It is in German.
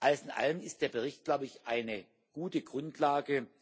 Alles in allem ist der Bericht, glaube ich, eine gute Grundlage.